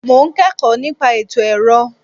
Mo ń kẹ́kọ̀ọ́ nípa ètò ẹ̀rọ.